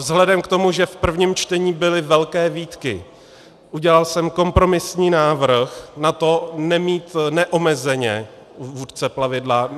Vzhledem k tomu, že v prvním čtení byly velké výtky, udělal jsem kompromisní návrh na to nemít neomezeně vůdce plavidla.